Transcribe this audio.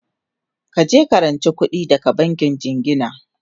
kaje ka ranci kuɗi daga bankin jingina!